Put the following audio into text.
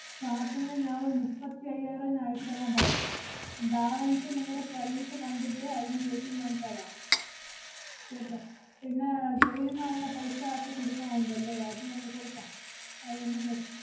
starting ല് ഞാ~ ഒരു നുപ്പത്തി അയ്യായിരം ഞാ~ അയച്ചു തരാന്‍ പറയാം. അഹ് balance അ് നിങ്ങടെ service കണ്ടിട്ട് അതിനുശേഷം ഞാൻ തരാം, കേട്ടോ. പിന്നെ അഹ് guide ന് ഒള്ള paisa ~ക്കെ കൊടുക്കാൻ ഉണ്ടല്ലേ, അത് ഞങ്ങ~ കൊടുക്കാം. അത് ഒന്ന് പ്രശ്ന~